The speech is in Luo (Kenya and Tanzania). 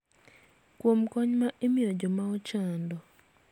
Kuom kony ma imiyo joma ochando.